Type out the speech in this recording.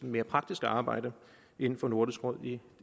mere praktiske arbejde inden for nordisk råd i